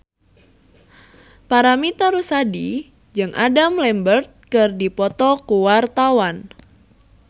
Paramitha Rusady jeung Adam Lambert keur dipoto ku wartawan